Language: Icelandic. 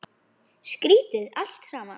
Skrýtið allt saman.